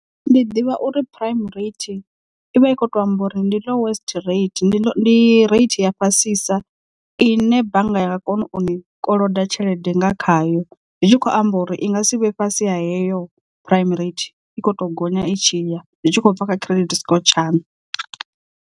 Ndi ḓivha uri prime rate ivha i kho to amba uri ndi lowest rate ndi rate ya fhasisa ine bannga yanga kona uni koloda tshelede nga khayo zwi tshi khou amba uri i nga si vhe fhasi heyo prime rate i kho to gonya i tshi ya zwi tshi khou bva kha credit score tshaṋu.